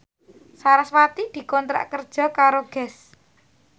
sarasvati dikontrak kerja karo Guess